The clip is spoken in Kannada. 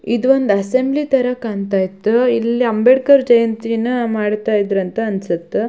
ಇದೊಂದು ಅಸ್ಸೆಂಬಲಿ ತರ ಕಾಣತ್ತಾ ಇತ್ತು ಇಲ್ಲಿ ಅಂಬೇಡ್ಕರ್ ಜಯಂತಿನ ಮಾಡತ್ತಾ ಇದರೆ ಅಂತ ಅನ್ನಸುತ್ತ.